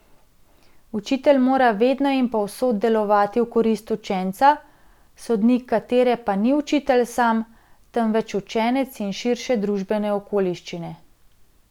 Učitelj mora vedno in povsod delovati v korist učenca, sodnik katere pa ni učitelj sam, temveč učenec in širše družbene okoliščine.